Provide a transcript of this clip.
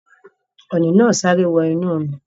Ọ̀ọ̀nì naa sáré wọ inú omi